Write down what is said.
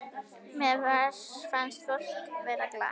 Mér fannst fólk vera glatt.